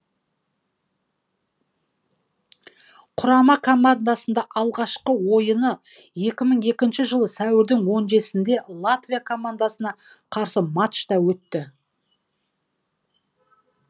құрамы командасында алғашқы ойыны екі мың екі жылы сәуірдің он жетісінде латвия командасына қарсы матчта өтті